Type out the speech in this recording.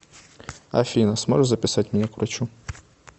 афина сможешь записать меня к врачу